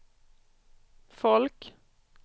folk